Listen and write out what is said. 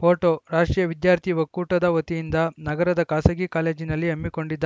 photo ರಾಷ್ಟ್ರೀಯ ವಿದ್ಯಾರ್ಥಿ ಒಕ್ಕೂಟದ ವತಿಯಿಂದ ನಗರದ ಖಾಸಗಿ ಕಾಲೇಜಿನಲ್ಲಿ ಹಮ್ಮಿಕೊಂಡಿದ್ದ